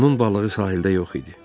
Onun balığı sahildə yox idi.